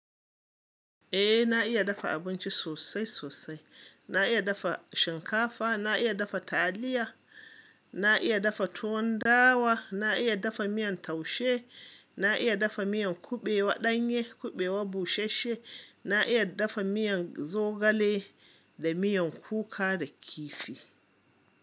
Eh na iya dafa abinci sosai sosai. Na iya dafa shinkafa, na iya dafa taliya, na iya dafa tuwon dawa, na iya dafa miyan taushe, na iya dafa miyan kuɓewan ɗanye, kuɓewan busasshe, na iya dafa miyan zogale da miyan kuka da kifi.